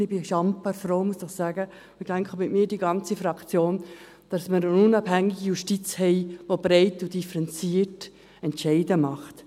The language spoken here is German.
Ich bin sehr froh, und muss doch sagen – und ich denke, mit mir die ganze Fraktion –, dass wir eine unabhängige Justiz haben, die breit und differenziert Entscheide fällt.